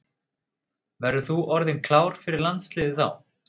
Verður þú orðinn klár fyrir landsliðið þá?